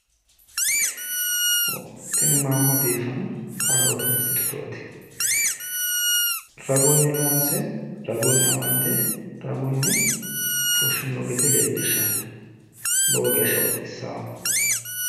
Tini maamma biiffanno kaarootete sirchooti ragunni loonse ragunni amande ragunni fushshinoonni gede leellishshanno lowo geeshsha bxissaawo.